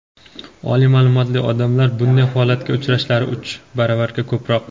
oliy ma’lumotli odamlar bunday holatga uchrashlari uch baravarga ko‘proq.